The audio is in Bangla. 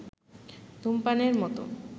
ধূমপানের মত